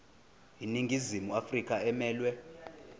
iningizimu afrika emelwe